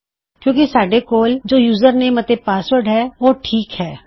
ਕਿਉਂ ਕਿ ਇੱਥੇ ਸਾਡੇ ਕੋਲ ਯੂਜਰਨੇਮ ਅਤੇ ਪਾਸਵਰਡ ਹੈ ਉਹ ਠੀਕ ਹੈ